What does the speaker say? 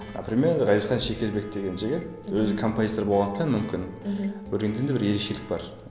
например ғазизхан шекербеков деген жігіт өзі композитор болғандықтан мүмкін өлеңдерінде бір ерекшелік бар